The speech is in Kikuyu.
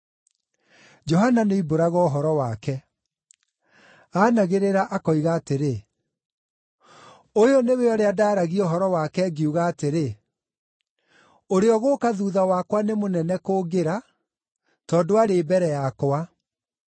Johana nĩoimbũraga ũhoro wake. Aanagĩrĩra akoiga atĩrĩ, “Ũyũ nĩwe ũrĩa ndaaragia ũhoro wake ngiuga atĩrĩ, ‘Ũrĩa ũgũũka thuutha wakwa nĩ mũnene kũngĩra, tondũ aarĩ mbere yakwa.’ ”